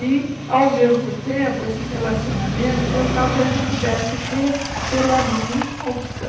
E, ao mesmo tempo, esses relacionamentos eu talvez não pudesse ter pela minha opção.